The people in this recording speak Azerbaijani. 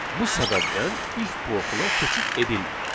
Bu səbəbdən if blokuna keçid edilmir.